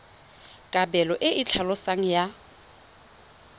kabelo e e tlhaloswang ya